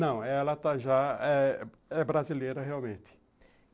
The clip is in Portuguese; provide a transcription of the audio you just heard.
Não, ela está já, é brasileira realmente.